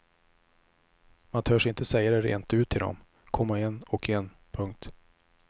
Man törs inte säga det rent ut till dem, komma en och en. punkt